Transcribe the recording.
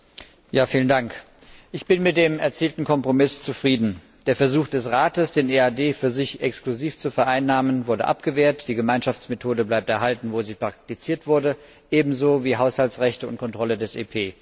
Herr Präsident! Ich bin mit dem erzielten Kompromiss zufrieden. Der Versuch des Rates, den EAD für sich exklusiv zu vereinnahmen, wurde abgewehrt, die Gemeinschaftsmethode bleibt erhalten, wo sie praktiziert wurde, ebenso wie Haushaltsrechte und Kontrolle des EP.